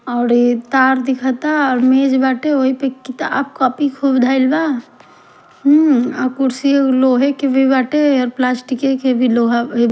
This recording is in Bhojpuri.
आउर ई तार दिखता और मेज बाटे ओहिपे किताब कापी खूब धाइल बा हूँ और कुरसियो लोहे के भी बाटे और प्लास्टिके के भी लोहा ए --